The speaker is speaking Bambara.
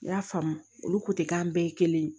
N y'a faamu olu k'an bɛɛ ye kelen ye